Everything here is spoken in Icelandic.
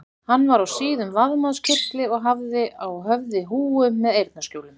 Hann var á síðum vaðmálskyrtli og hafði á höfði húfu með eyrnaskjólum.